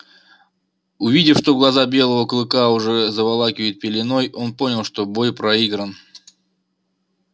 увидев что глаза белого клыка уже заволакивает пеленой он понял что бой проигран